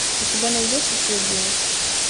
у тебя найдется цвет денег